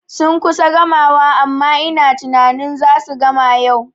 Sun kusa gamawa amma ina tunanin zasu gama yau